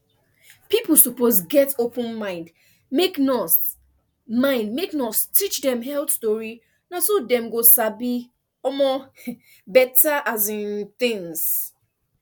people suppose get open mind make nurse mind make nurse teach dem health tori na so dem go sabi um better um things